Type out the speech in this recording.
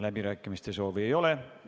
Läbirääkimiste soovi ei ole.